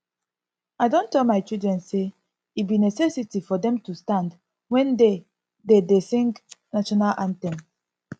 i don tell my children say e be necessity for dem to stand wen dey dey dey sing national anthem